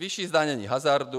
Vyšší zdanění hazardu.